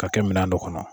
Ka kɛ minɛn dɔ kɔnɔ